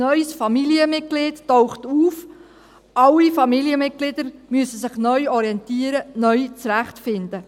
Ein neues Familienmitglied taucht auf, alle Familienmitglieder müssen sich neu orientieren, neu zurechtfinden.